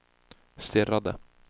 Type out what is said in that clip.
stirrade